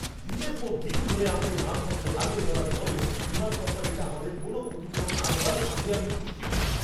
দিনের পর দিন ধরে আমাদের মালপত্র হারিয়ে ফেলার পরেও বিমান কোম্পানিটা আমাদের কোনও ক্ষতিপূরণ না দেওয়ায় রাগে আমি ফুঁসছিলাম।